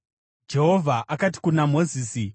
Jehovha akati kuna Mozisi,